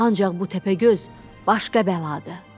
Ancaq bu təpəgöz başqa bəladır.